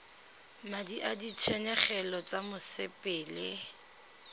madi a ditshenyegelo tsa mosepele